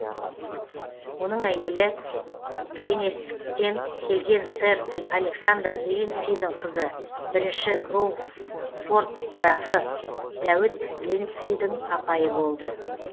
оның әйелі гленесктен келген сэр александр линдсидің қызы бірінші ші кроуфорд графы дәуіт линдсидің апайы болды